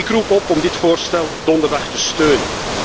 Ik roep op om dit voorstel donderdag te steunen.